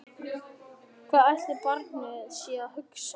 Hvað ætli barnið sé að hugsa?